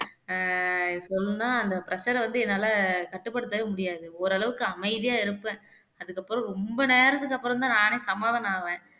அஹ் சொன்னா அந்த pressure ஐ வந்து என்னால கட்டுப்படுத்தவே முடியாது ஓரளவுக்கு அமைதியா இருப்பேன் அதுக்கப்புறம் ரொம்ப நேரத்துக்கு அப்புறம்தான் நானே சமாதானம் ஆவேன்